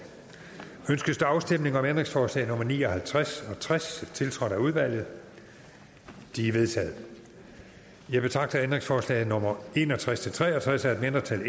ønskes der afstemning om ændringsforslag nummer ni og halvtreds tres tiltrådt af udvalget de er vedtaget jeg betragter ændringsforslag nummer en og tres til tre og tres af et mindretal